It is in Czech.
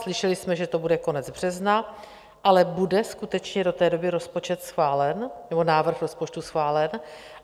Slyšeli jsme, že to bude konec března, ale bude skutečně do té doby rozpočet schválen, nebo návrh rozpočtu schválen?